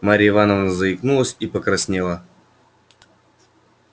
марья ивановна заикнулась и покраснела